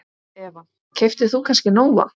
Eva: Keyptir þú kannski Nóa?